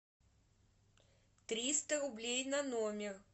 триста рублей на номер